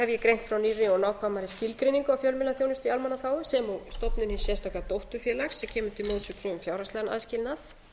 ég greint frá nýrri og nákvæmari skilgreiningu á fjölmiðlaþjónustu í almannaþágu sem og stofnun hins sérstaka dótturfélags sem kemur til móts við xxx fjárhagslegan aðskilnað